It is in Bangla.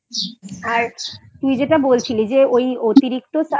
আর তুই যেটা বলছিলি যে ওই অতিরিক্ত Suspense